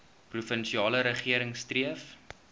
provinsiale regering streef